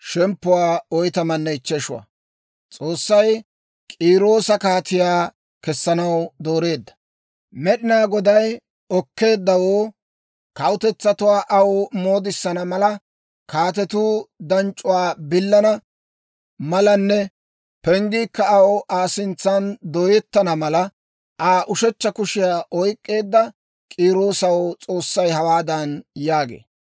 Med'inaa Goday okkeeddawoo, kawutetsatuwaa aw moodisana mala, kaatetuu danc'c'uwaa billana malanne penggiikka aw Aa sintsan dooyettana mala, Aa ushechcha kushiyaa oyk'k'eedda K'iiroosaw S'oossay hawaadan yaagee;